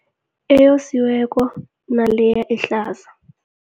Eyosiweko naleya ehlaza.